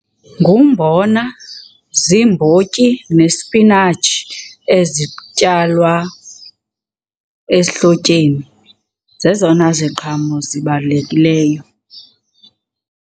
Ngumbona, ziimbotyi nesipinatshi ezityalwa ehlotyeni. Zezona ziqhamo zibalulekileyo.